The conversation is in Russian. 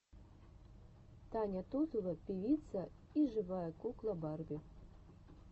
таня тузова певица и живая кукла барби